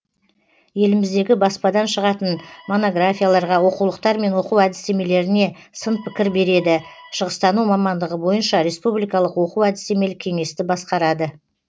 еліміздегі баспадан шығатын монографияларға оқулықтар мен оқу әдістемелеріне сын пікір береді шығыстану мамандығы бойынша республикалық оқу әдістемелік кеңесті басқарады